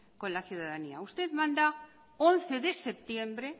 con la ciudadanía usted manda once de septiembre